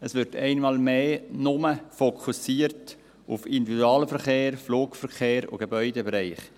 Es wird einmal mehr nur fokussiert auf Individualverkehr, Flugverkehr und Gebäudebereich.